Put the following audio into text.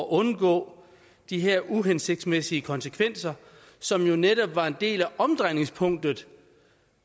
undgår de her uhensigtsmæssige konsekvenser som jo netop var en del af omdrejningspunktet